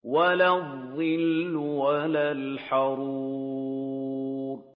وَلَا الظِّلُّ وَلَا الْحَرُورُ